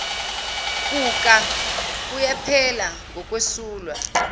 kuka kuyaphela ngokwesulwa